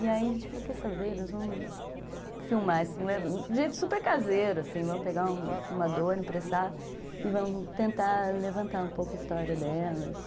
E aí a gente falou, quer saber, nós vamos filmar, de um jeito super caseiro, assim, vamos pegar um filmador, emprestar e vamos tentar levantar um pouco a história delas.